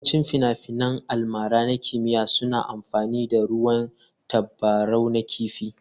Yawancin finafinan almara na kimiyya suna amfani da ruwan tabarau na kifi.